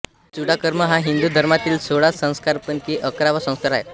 चूडाकर्म हा हिंदू धर्मातील सोळा संस्कारांपैकी अकरावा संस्कार आहे